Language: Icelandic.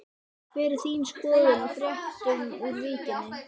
Hver er þín skoðun á fréttunum úr Víkinni?